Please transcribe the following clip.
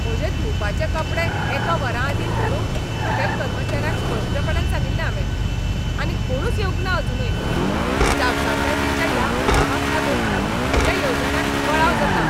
म्हजे धुवपाचे कपडे एका वरा आदीं व्हरूंक होटॅल कर्मचाऱ्यांक स्पश्टपणान सांगिल्लें हांवें, आनी कोणूच येवंकना अजूनय. जापसालदारकेच्या ह्या उणावाक लागून म्हज्या येवजण्यांक कळाव जाता!